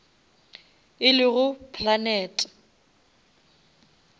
e lego planete